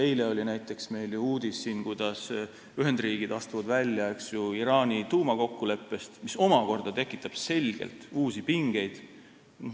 Eile oli meil ju näiteks uudis, kuidas Ühendriigid astuvad välja Iraani tuumakokkuleppest, mis omakorda tekitab selgelt uusi pingeid.